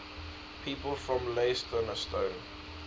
people from leytonstone